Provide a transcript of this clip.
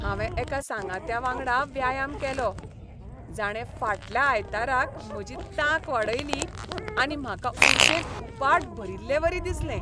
हांवें एका सांगात्यावांगडा व्यायाम केलो, जाणें फाटल्या आयताराक म्हजी तांक वाडयली आनी म्हाका उर्जेन उपाट भरिल्लेवरी दिसलें.